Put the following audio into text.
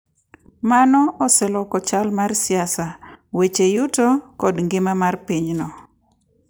Mano oseloko chal mar siasa, weche yuto, kod ngima mar pinyno.